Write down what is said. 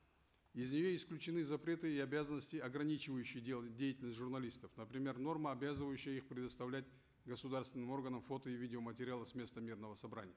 из нее исключены запреты и обязанности ограничивающие деятельность журналистов например норма обязывающая их предоставлять государственным органам фото и видеоматериалы с места мирного собрания